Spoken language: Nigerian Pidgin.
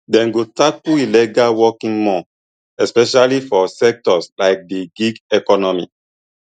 dem go tackle illegal working more especially for sectors like di gig economy